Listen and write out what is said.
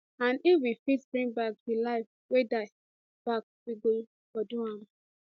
and if we fit bring back di lives wey die back we for do am